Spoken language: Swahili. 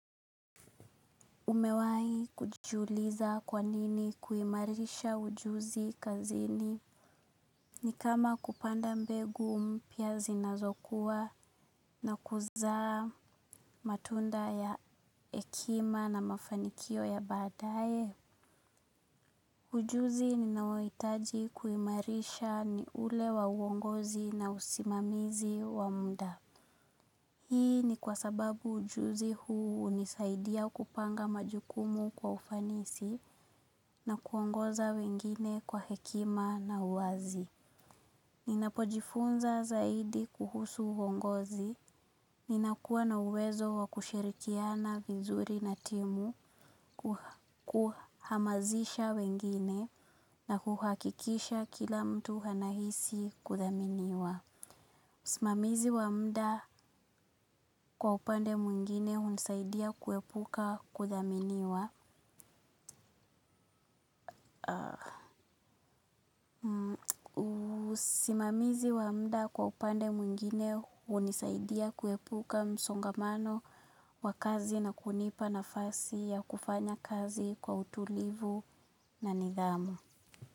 Umewahi kujiuliza kwa nini kuimarisha ujuzi kazini. Ni kama kupanda mbegu mpya zinazokuwa na kuzaa matunda ya hekima na mafanikio ya baadaye? Ujuzi ninaohitaji kuimarisha ni ule wa uongozi na usimamizi wa muda. Hii ni kwa sababu ujuzi huu hunisaidia kupanga majukumu kwa ufanisi na kuongoza wengine kwa hekima na uwazi. Ninapojifunza zaidi kuhusu uongozi, ninakuwa na uwezo wa kushirikiana vizuri na timu, kuhamazisha wengine na kuhakikisha kila mtu anahisi kuthaminiwa. Usimamizi wa muda kwa upande mwingine hunisaidia kuepuka kuthaminiwa. Usimamizi wa muda kwa upande mwingine hunisaidia kuepuka msongamano wa kazi na kunipa nafasi ya kufanya kazi kwa utulivu na nidhamu.